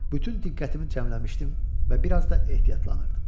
Bütün diqqətimi cəmləmişdim və biraz da ehtiyatlanırdım.